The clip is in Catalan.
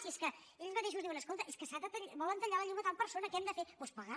si és que ells mateixos diuen escolta és que volen tallar la llum a tal persona què hem de fer doncs pagar